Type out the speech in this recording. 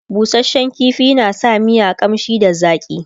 busashen ƙifi na sa miya ƙamshi da zaƙi